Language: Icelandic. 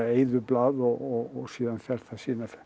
eyðublað og síðan fer það